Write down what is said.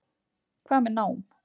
Hvað með nám?